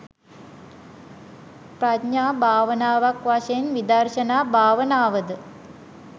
ප්‍රඥා භාවනාවක් වශයෙන් විදර්ශනා භාවනාව ද